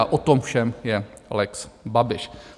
A o tom všem je lex Babiš.